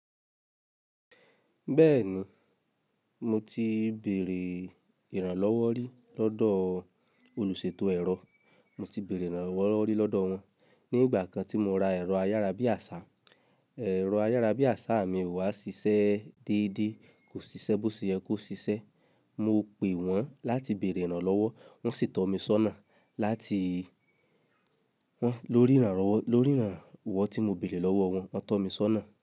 Bẹ́ẹ̀ni, mo ti béèrè ìrànlọ́wọ́ rí lọ́dọ̀ olùṣètò ẹ̀rọ. Mo ti béèrè ìrànlọ́wọ́ rí lọ́dọ̀ wọ́n. Ní ìgbà kan tí mo ra ẹ̀rọ ayárabíàṣá, ẹ̀rọ ayárabíàṣá mi wá ṣiṣẹ́ déédé, kò ṣiṣẹ́ bó ṣe yẹ kó ṣiṣẹ́. Mo pe wọ́n láti béèrè ìrànlọ́wọ́, wọ́n sì tọ́ mi sọ́nà. Láti wọ́n lórí ìrànlọ́wọ́, lórí ìrànwọ́ tí mo béèrè lọ́wọ́ wọ́n, wọ́n tọ́ mi sọ́nà.